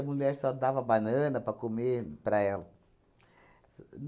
A mulher só dava banana para comer para ela. O o